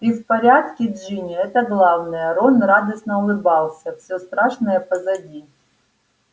ты в порядке джинни это главное рон радостно улыбался всё страшное позади